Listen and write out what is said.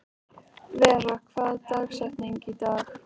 Vera, hver er dagsetningin í dag?